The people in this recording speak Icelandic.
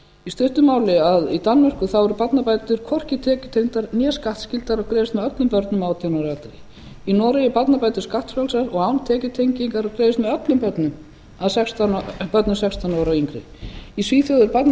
í stuttu máli í danmörku eru barnabætur hvorki tekjutengdar né skattskyldar og greiðast með öllum börnum átján og yngri í noregi eru barnabætur skattfrjálsar og án tekjutengingar og greiðast með öllum börnum sextán ára og yngri í svíþjóð greiðast barnabætur vegna